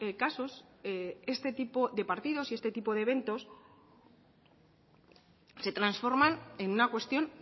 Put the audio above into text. casos este tipo de partidos y este tipo de eventos se transforman en una cuestión